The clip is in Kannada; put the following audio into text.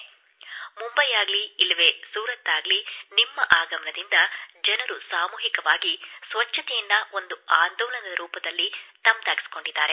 ಅದು ಮುಂಬೈ ಆಗಿರಲಿ ಇಲ್ಲವೆ ಸೂರತ್ ಆಗಿರಲಿ ನಿಮ್ಮ ಆಗಮನದಿಂದ ಜನರು ಸಾಮೂಹಿಕವಾಗಿ ಸ್ವಚ್ಛತೆಯನ್ನು ಒಂದು ಆಂದೋಲನದ ರೂಪದಲ್ಲಿ ತಮ್ಮದಾಗಿಸಿಕೊಂಡಿದ್ದಾರೆ